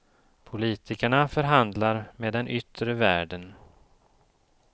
Politikerna förhandlar med den yttre världen.